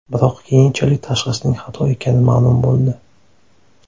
Biroq keyinchalik tashxisning xato ekani ma’lum bo‘ldi.